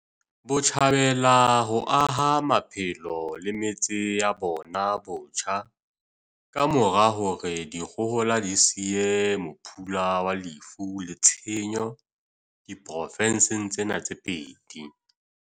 Botjhabela ho aha maphelo le metse ya bona botjha ka mora hore dikgohola di siye mophula wa lefu le tshenyo diprofenseng tsena tse pedi.